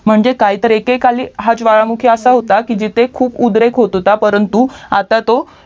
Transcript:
म्हणजे काय तर एकेकाळी हा ज्वालामुखी असा होता की जिथे खूप उद्रेक होत होता परंतु आता तो